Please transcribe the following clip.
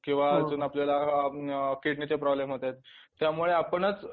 किंवा अजून आपल्याला किडनीचे प्रॉब्लम्स होतात त्यामुळे आपणच